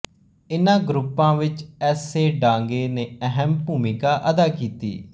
ਇਹਨਾਂ ਗਰੁੱਪਾਂ ਵਿੱਚ ਐਸ ਏ ਡਾਂਗੇ ਨੇ ਅਹਿਮ ਭੂਮਿਕਾ ਅਦਾ ਕੀਤੀ